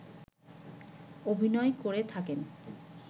অভিনয় করে থাকেন